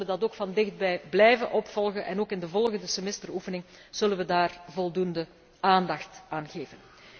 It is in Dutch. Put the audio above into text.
We zullen dat ook van dichtbij blijven volgen en ook in de volgende semesteroefening zullen we daar voldoende aandacht aan